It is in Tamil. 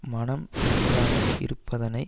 மனம் நன்றாக இருப்பதனை